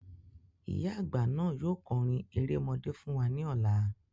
Ìyá àgbà ni yóò kọrin erémọdé fún wa ní ọlá